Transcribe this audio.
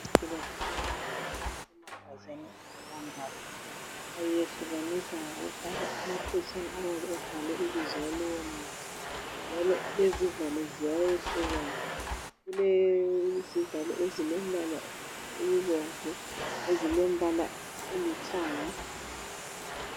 Imithi yesintu ujayele ukuhlala emagabheni angelambala. Bayehlukanisa ngokufaka amaphetshana ayabe ebhalwe ibizo lalowomuthi. Njalo lezivalo ziyayehlukana kulezivalo ezilombala obomvu lezilombala olithanga..